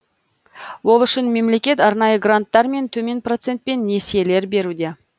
ол үшін мемлекет арнайы гранттар мен төмен процентпен несиелер беруде